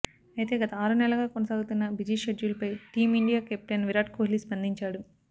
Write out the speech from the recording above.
అయితే గత ఆరు నెలలుగా కొనసాగుతున్న బిజీ షెడ్యూల్పై టీమిండియా కెప్టెన్ విరాట్ కోహ్లీ స్పందించాడు